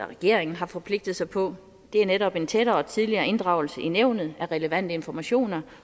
regeringen har forpligtet sig på det er netop en tættere og tidligere inddragelse i nævnet af relevante informationer